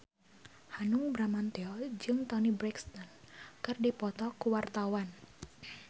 Hanung Bramantyo jeung Toni Brexton keur dipoto ku wartawan